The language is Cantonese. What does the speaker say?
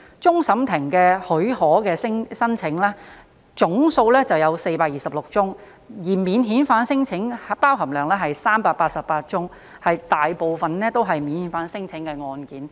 終審法院許可的申請總數為426宗，而免遣返聲請佔當中388宗，大部分都是免遣返聲請的案件。